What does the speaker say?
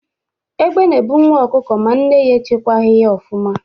Egbe na-ebu nwa ọkụkọ ma nne ya echekwaghị ya ọfụma.